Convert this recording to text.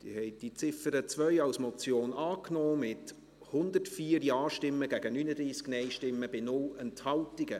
Sie haben die Ziffer 2 als Motion angenommen, mit 104 Ja- gegen 39 Nein-Stimmen bei 0 Enthaltungen.